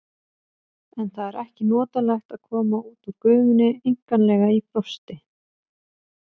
En það er ekki notalegt að koma út úr gufunni einkanlega í frosti.